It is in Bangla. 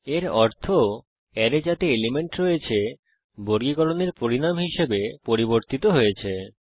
এর অর্থ অ্যারে যাতে এলিমেন্ট রয়েছে বর্গীকরণের পরিনাম হিসাবে পরিবর্তিত হয়েছে